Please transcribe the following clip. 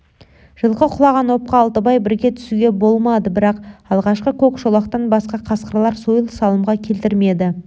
жылқы құлаған опқа алтыбай бірге түсуге болмады бірақ алғашқы көк шолақтан басқа қасқырлар сойыл салымға келтірмеді